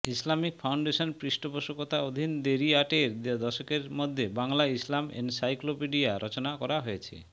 Islamic Foundation পৃষ্ঠপোষকতা অধীন দেরি আটের দশকের মধ্যে বাংলা ইসলাম এনসাইক্লোপিডিয়া রচনা করা হয়েছে